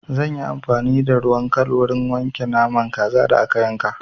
Zan yi amfani da ruwan kal wurin wanke naman kazan da aka yanka.